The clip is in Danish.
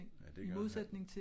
Ja det gør